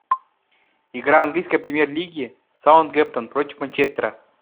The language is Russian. игра английской премьер лиги саутгемптон против манчестера